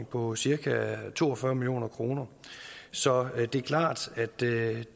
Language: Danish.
på cirka to og fyrre million kroner så det er klart at det